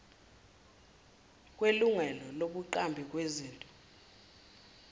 kwelungelo lobuqambi bezinto